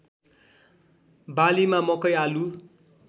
बालीमा मकै आलु